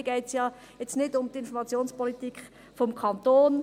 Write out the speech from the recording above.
Hier geht es ja nicht um die Informationspolitik des Kantons.